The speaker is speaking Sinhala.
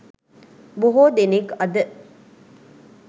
බොහෝ දෙනෙක් අද